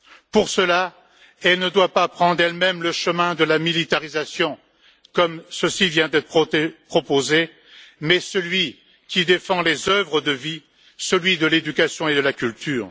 Pour cela, elle ne doit pas prendre elle même le chemin de la militarisation, comme ceci vient d'être proposé, mais celui qui défend les œuvres de vie, celui de l'éducation et de la culture.